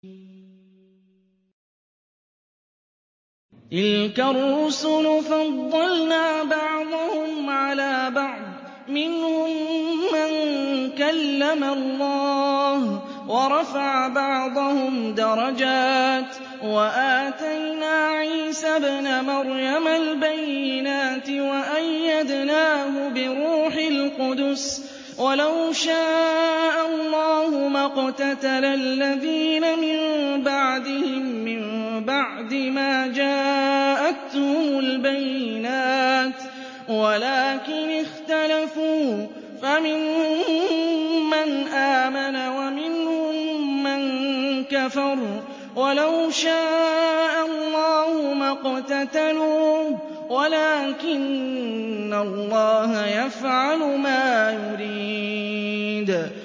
۞ تِلْكَ الرُّسُلُ فَضَّلْنَا بَعْضَهُمْ عَلَىٰ بَعْضٍ ۘ مِّنْهُم مَّن كَلَّمَ اللَّهُ ۖ وَرَفَعَ بَعْضَهُمْ دَرَجَاتٍ ۚ وَآتَيْنَا عِيسَى ابْنَ مَرْيَمَ الْبَيِّنَاتِ وَأَيَّدْنَاهُ بِرُوحِ الْقُدُسِ ۗ وَلَوْ شَاءَ اللَّهُ مَا اقْتَتَلَ الَّذِينَ مِن بَعْدِهِم مِّن بَعْدِ مَا جَاءَتْهُمُ الْبَيِّنَاتُ وَلَٰكِنِ اخْتَلَفُوا فَمِنْهُم مَّنْ آمَنَ وَمِنْهُم مَّن كَفَرَ ۚ وَلَوْ شَاءَ اللَّهُ مَا اقْتَتَلُوا وَلَٰكِنَّ اللَّهَ يَفْعَلُ مَا يُرِيدُ